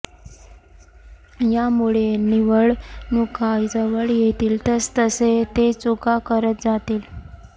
यामुळे निवडणुका जवळ येतील तसतसे ते चुका करत जातील